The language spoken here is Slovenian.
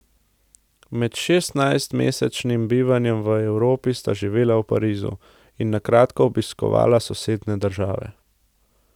Med šestnajstmesečnim bivanjem v Evropi sta živela v Parizu, in na kratko obiskovala sosednje države.